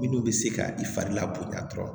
Minnu bɛ se ka i fari la bonya dɔrɔn